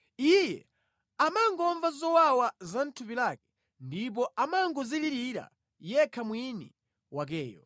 Iye amangomva zowawa za mʼthupi lake ndipo amangodzilirira yekha mwini wakeyo.”